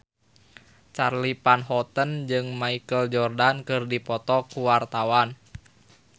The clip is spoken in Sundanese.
Charly Van Houten jeung Michael Jordan keur dipoto ku wartawan